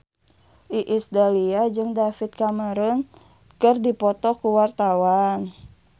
Iis Dahlia jeung David Cameron keur dipoto ku wartawan